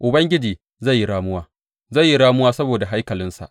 Ubangiji zai yi ramuwa, zai yi ramuwa saboda haikalinsa.